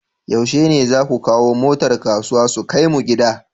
Yushe ne zasu kawo motar kasuwa su kai mu gida?